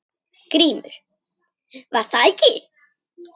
GRÍMUR: Var það ekki!